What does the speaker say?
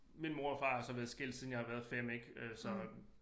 Min mor og far har så været skilt siden jeg har været 5 ik øh så